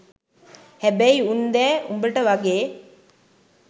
හැබැයි උන් දැ උඹට වගේ